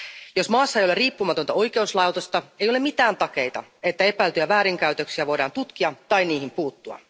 Jos maassa ei ole riippumatonta oikeuslaitosta, ei ole mitään takeita, että epäiltyjä väärinkäytöksiä voidaan tutkia tai niihin puuttua.